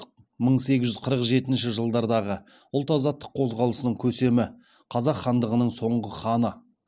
мың сегіз жүз қырық жетінші жылдардағы ұлт азаттық қозғалысының көсемі қазақ хандығының соңғы ханы